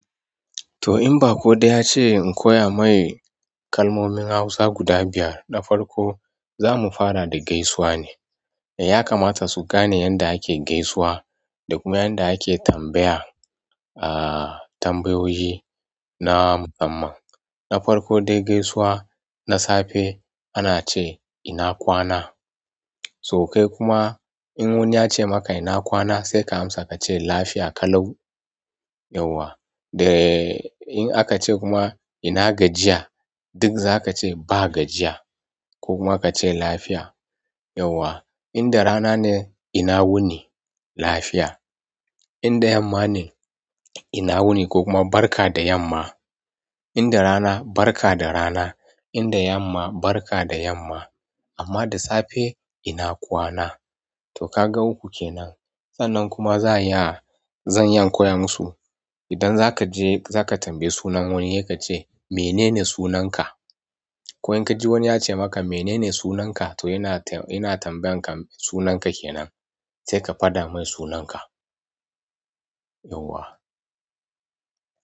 To in baƙo dai ya ce in koya mai kalmomin hausa guda biyar na farko zamu fara da gaisuwa ne. Ya kamata su gane yanda ake gaisuwa da kuma yanda ake tambaya a tambayoyi na musamman. Na farko dai gaisuwa, na safe ana ce ina kwana? To kai kuma in wani yace maka ina kwana? Sai ka amsa ka ce lafiya kalau. Yauwa. Da in aka ce kuma ina gajiya? Duk zaka ce ba gajiya ko kuma ka ce lafiya. Yauwa. In da rana ne ina wuni, lafiya. In da yamma ne ina wuni ko kuma barka da yamma. In da rana barka da rana, in da yamma barka da yamma. Amma da safe ina kwana. To ka ga uku kenan. Sanan kuma za a iya zan iya in koyo musu. Idan zaka je zaka tambaye sunan wani, he ka ce mene ne sunan ka? Ko in ka ji wani ya ce maka mene ne sunan ka? To yana tambayan ka sunan ka kenan. Sai ka faɗa mun sunan ka. Yauwa.